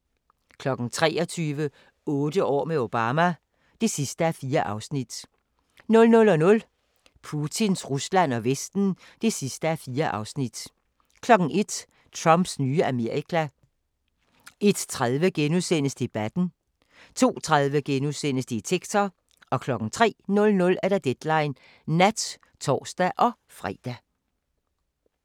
23:00: Otte år med Obama (4:4) 00:00: Putins Rusland og Vesten (4:4) 01:00: Trumps nye Amerika 01:30: Debatten * 02:30: Detektor * 03:00: Deadline Nat (tor-fre)